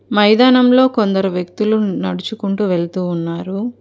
మైదానంలో కొందరు వ్యక్తులు నడుచుకుంటూ వెళుతూ ఉన్నారు.